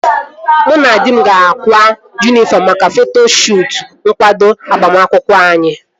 Mụ na di m ga-akwa yunifọm maka foto shuutu nkwado agbamakwụkwọ anyị